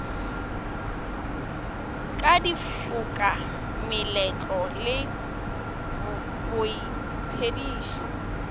ka difoka meletlo le boiphedišo